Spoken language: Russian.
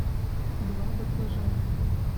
два баклажана